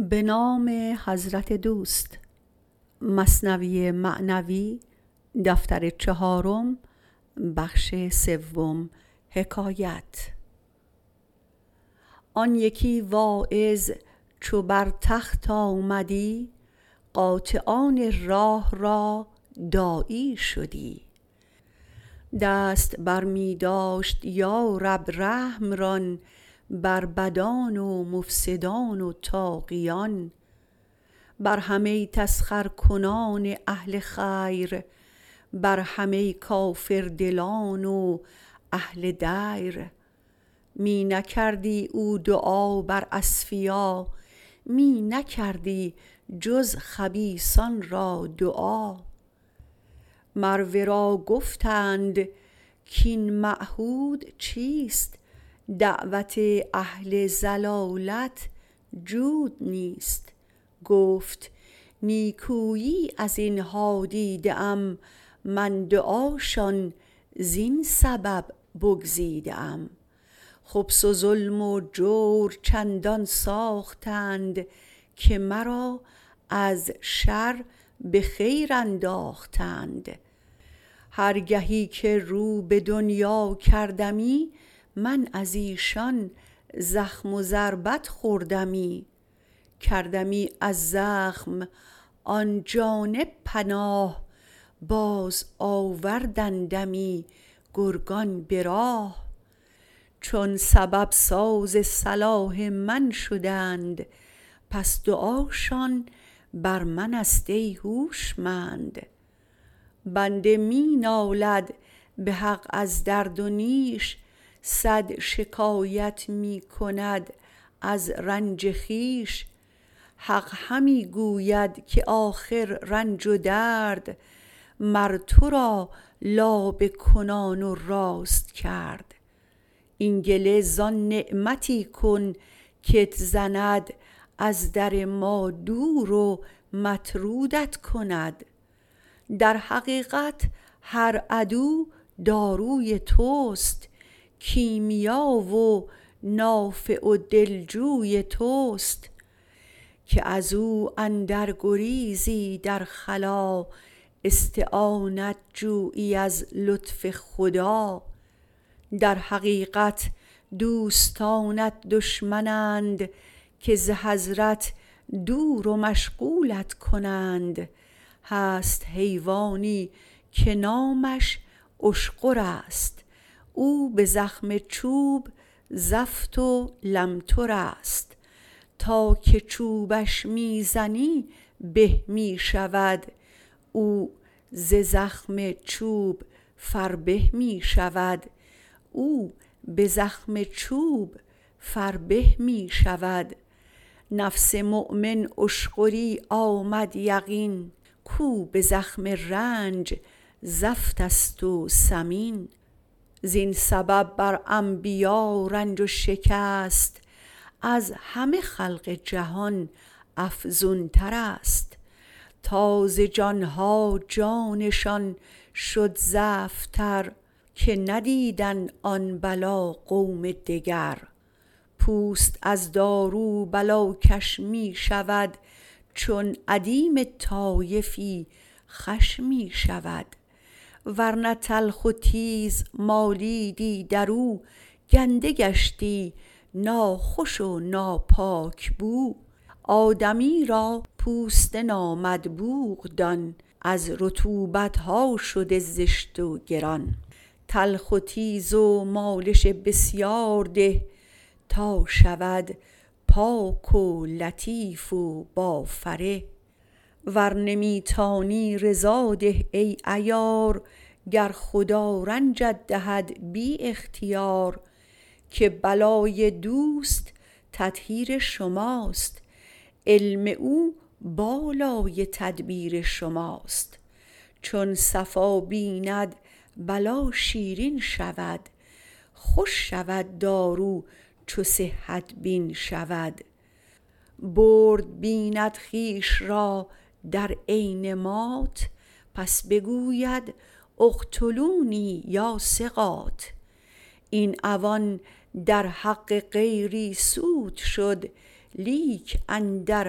آن یکی واعظ چو بر تخت آمدی قاطعان راه را داعی شدی دست برمی داشت یا رب رحم ران بر بدان و مفسدان و طاغیان بر همه تسخرکنان اهل خیر برهمه کافردلان و اهل دیر می نکردی او دعا بر اصفیا می نکردی جز خبیثان را دعا مر ورا گفتند کین معهود نیست دعوت اهل ضلالت جود نیست گفت نیکویی ازینها دیده ام من دعاشان زین سبب بگزیده ام خبث و ظلم و جور چندان ساختند که مرا از شر به خیر انداختند هر گهی که رو به دنیا کردمی من ازیشان زخم و ضربت خوردمی کردمی از زخم آن جانب پناه باز آوردندمی گرگان به راه چون سبب ساز صلاح من شدند پس دعاشان بر منست ای هوشمند بنده می نالد به حق از درد و نیش صد شکایت می کند از رنج خویش حق همی گوید که آخر رنج و درد مر ترا لابه کنان و راست کرد این گله زان نعمتی کن کت زند از در ما دور و مطرودت کند در حقیقت هر عدو داروی تست کیمیا و نافع و دلجوی تست که ازو اندر گریزی در خلا استعانت جویی از لطف خدا در حقیقت دوستانت دشمن اند که ز حضرت دور و مشغولت کنند هست حیوانی که نامش اشغرست او به زخم چوب زفت و لمترست تا که چوبش می زنی به می شود او ز زخم چوب فربه می شود نفس مؤمن اشغری آمد یقین کو به زخم رنج زفتست و سمین زین سبب بر انبیا رنج و شکست از همه خلق جهان افزونترست تا ز جانها جانشان شد زفت تر که ندیدند آن بلا قوم دگر پوست از دارو بلاکش می شود چون ادیم طایفی خوش می شود ورنه تلخ و تیز مالیدی درو گنده گشتی ناخوش و ناپاک بو آدمی را پوست نامدبوغ دان از رطوبتها شده زشت و گران تلخ و تیز و مالش بسیار ده تا شود پاک و لطیف و با فره ور نمی تانی رضا ده ای عیار گر خدا رنجت دهد بی اختیار که بلای دوست تطهیر شماست علم او بالای تدبیر شماست چون صفا بیند بلا شیرین شود خوش شود دارو چو صحت بین شود برد بیند خویش را در عین مات پس بگوید اقتلونی یا ثقات این عوان در حق غیری سود شد لیک اندر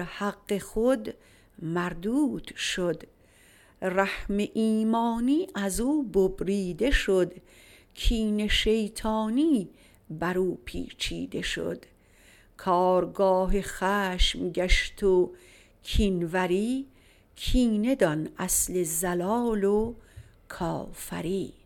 حق خود مردود شد رحم ایمانی ازو ببریده شد کین شیطانی برو پیچیده شد کارگاه خشم گشت و کین وری کینه دان اصل ضلال و کافری